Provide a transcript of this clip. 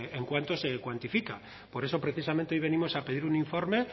ese gap en cuánto se cuantifica por eso precisamente hoy venimos a pedir un informe